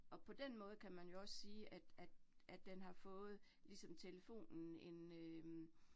Og på den måde kan man jo også sige, at at at den har fået ligesom telefonen en øh